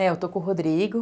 É, eu estou com o Rodrigo.